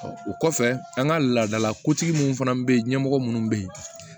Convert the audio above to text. o kɔfɛ an ka laadalakotigi minnu fana bɛ yen ɲɛmɔgɔ minnu bɛ yen